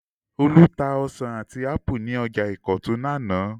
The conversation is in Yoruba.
Olú tá ọsàn àti ápù ní ọjà Ìkọ̀tún lánàá.